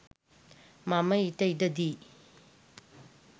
මම ඊට ඉඩදී